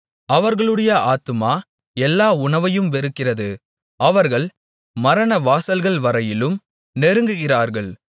அவர்களுடைய ஆத்துமா எல்லா உணவையும் வெறுக்கிறது அவர்கள் மரணவாசல்கள் வரையிலும் நெருங்குகிறார்கள்